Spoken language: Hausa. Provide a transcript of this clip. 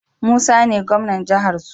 Musa ne gwamnan jahar su